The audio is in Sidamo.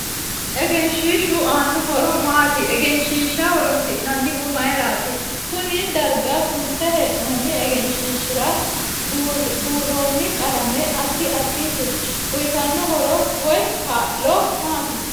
Egenshiishu aano horo maati egenshiisha horoonsinanihu mayiirati koenn darga sunte heenooni egenshiisira buurooni qalame addi additi uyiitanno horo woy kaa'lo maati